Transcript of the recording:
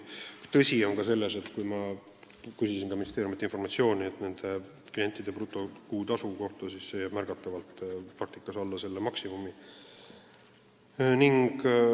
Tõsi on ka see, et kui ma küsisin ministeeriumilt informatsiooni nende klientide brutokuutasu kohta, siis sain vastuse, et see jääb märgatavalt alla selle maksimumi.